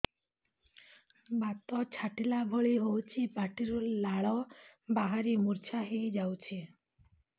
ବାତ ଛାଟିଲା ଭଳି ହଉଚି ପାଟିରୁ ଲାଳ ବାହାରି ମୁର୍ଚ୍ଛା ହେଇଯାଉଛି